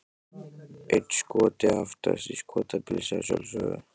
Einn Skoti aftast, í Skotapilsi að sjálfsögðu!